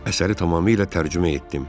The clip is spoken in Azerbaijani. Əsəri tamamilə tərcümə etdim.